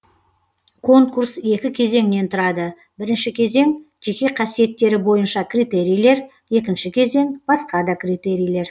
конкурс екі кезеңнен тұрады бірінші кезең жеке қасиеттері бойынша критерийлер екінші кезең басқа да критерийлер